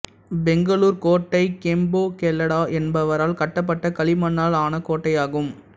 பெங்களூர்க் கோட்டை கெம்பேகௌடா என்பவரால் கட்டப்பட்ட களிமண்ணால் ஆன கோட்டையாகும்